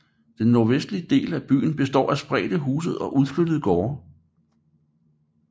Den nordvestligste del af byen består af spredte huse og udflyttede gårde